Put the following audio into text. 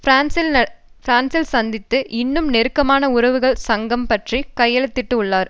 பிரான்ஸில் சந்தித்து இன்னும் நெருக்கமான உறவுகள் சங்கம் பற்றி கையெழுத்திட உள்ளனர்